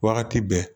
Wagati bɛɛ